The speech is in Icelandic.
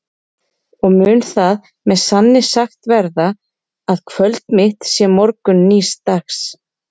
Og mun það með sanni sagt verða, að kvöld mitt sé morgunn nýs dags?